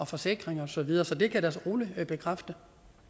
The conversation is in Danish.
forsikring og så videre så det kan jeg da roligt bekræfte